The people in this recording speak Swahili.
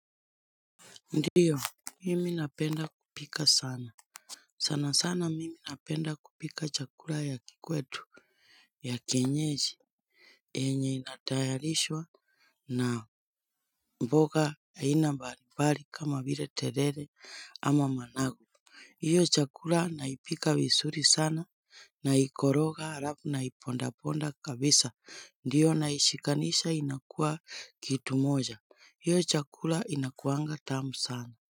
Ndiyo mimi napenda kupika sana, sana sana mimi napenda kupika chakula ya kikwetu ya kienyeji. Yenye inatayarishwa na mboga ain mbali mbali kama vile terere ama managu. Hiyo chakula naipika vizuri sana, naikoroga alafu naipondaponda kabisa. Ndiyo naishikanisha inakua kitu moja. Hiyo chakula inakuanga tamu sana.